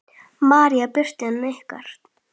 María Birta en ykkar?